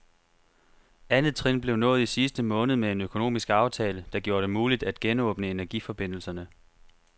Andet trin blev nået i sidste måned med en økonomisk aftale, der gjorde det muligt at genåbne energiforbindelserne.